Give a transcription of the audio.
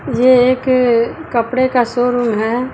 ये एक कपड़े का शो रूम है।